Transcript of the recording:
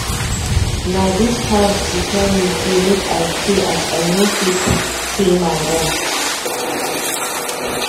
Na dis house she tell me sey make I stay as I no fit pay my rent.